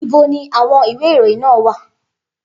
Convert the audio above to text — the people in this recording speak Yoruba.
Ibo ni àwọn ìwé ìròyìn náà wà?